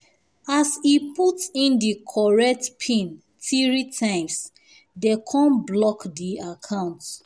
as e put in the correct pin 3 times dey kon block the account